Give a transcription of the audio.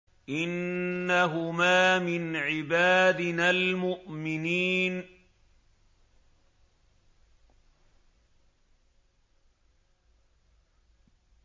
إِنَّهُمَا مِنْ عِبَادِنَا الْمُؤْمِنِينَ